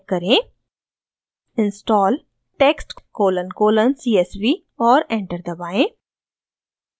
type करें: install text colon colon csv और enter दबाएं